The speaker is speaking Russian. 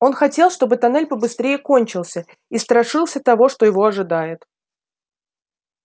он хотел чтобы тоннель побыстрее кончился и страшился того что его ожидает